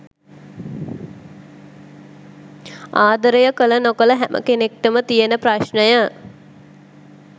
ආදරය කල නොකල හැම කෙනෙක්ටම තියෙන ප්‍රශ්නය.